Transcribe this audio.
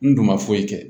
N dun ma foyi kɛ